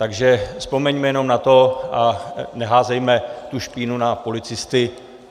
Takže vzpomeňme jenom na to a neházejme tu špínu na policisty.